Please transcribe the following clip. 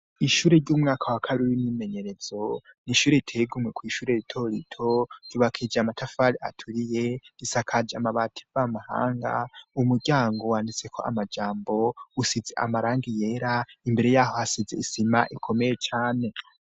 Ishure ry'umwaka wa kabiri w'imyimenyerezo, n'ishure iteye ingome kw'ishure rito rito ryubakije amatafari aturiye risakaje amabati mvamahanga, umuryango wanditseko amajambo, usize amarangi yera imbere yaho hasize isima ikomeye cane.